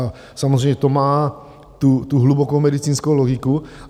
A samozřejmě to má tu hlubokou medicínskou logiku.